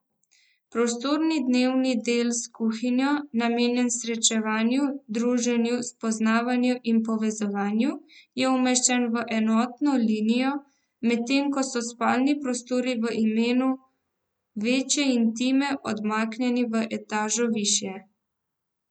Prostorni dnevni del s kuhinjo, namenjen srečevanju, druženju, spoznavanju in povezovanju, je umeščen v enotno linijo, medtem ko so spalni prostori v imenu večje intime odmaknjeni v etažo višje.